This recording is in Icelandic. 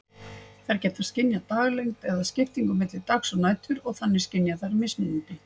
Þær geta skynjað daglengd eða skiptingu milli dags og nætur, og þannig skynja þær mismunandi